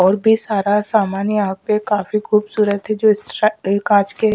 और भी सारा सामान यहां पे काफी खूबसूरत ये कांच के--